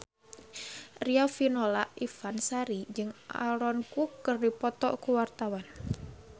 Riafinola Ifani Sari jeung Aaron Kwok keur dipoto ku wartawan